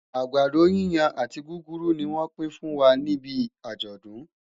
àgbàdo yíyan àti gúgúrú ní wón pi n fún wà níbí ajodun